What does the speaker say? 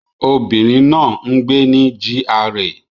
Obìnrin náà ń gbé ní GRA